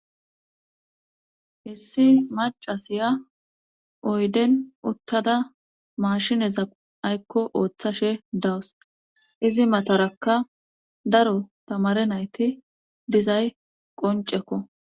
hissi macasiya oyden uttada maashineza aykko ooththashe dawus izi matarakka daro tamare nayti dizay qoncekko